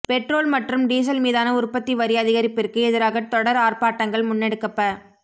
petrol மற்றும் diesel மீதான உற்பத்தி வரி அதிகரிப்பிற்கு எதிராக தொடர் ஆர்ப்பாட்டங்கள் முன்னெடுக்கப்ப